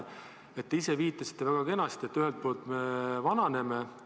Te ise viitasite väga kenasti, et ühelt poolt me vananeme.